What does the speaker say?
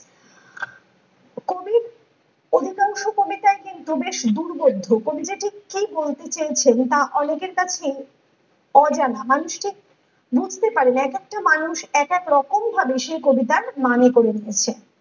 অধিকাংশ কবিতাটি বেশ দূর্ভেদ্য কবি যে ঠিক কি বলতে চেয়েছেন তা অনেকের কাছে অজানা মানুষকে বুঝতে পারেননি এক একটা মানুষ এক এক রকম ভাবে সেই কবিতার মানে করে নিয়েছেন ।